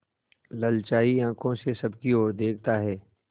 ललचाई आँखों से सबकी और देखता है